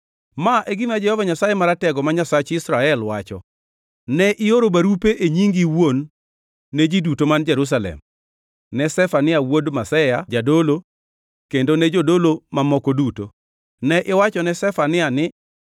“Ma e gima Jehova Nyasaye Maratego ma Nyasach Israel, wacho: Ne ioro barupe e nyingi iwuon ne ji duto man Jerusalem, ne Zefania wuod Maseya jadolo, kendo ne jodolo mamoko duto. Ne iwachone Zefania ni,